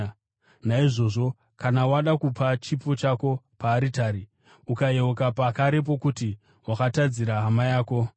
“Naizvozvo kana wada kupa chipo chako paaritari, ukayeuka pakarepo kuti wakatadzira hama yako,